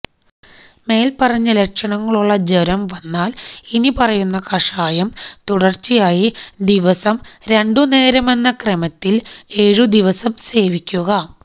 മേല്പറഞ്ഞ ലക്ഷണങ്ങളുള്ള ജ്വരം വന്നാല് ഇനി പറയുന്ന കഷായം തുടര്ച്ചയായി ദിവസം രണ്ടു നേരമെന്ന ക്രമത്തില് ഏഴു ദിവസം സേവിക്കുക